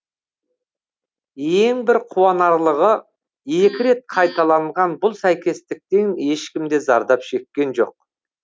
ең бір қуанарлығы екі рет қайталанған бұл сәйкестіктен ешкім де зардап шеккен жоқ